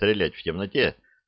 стрелять в темноте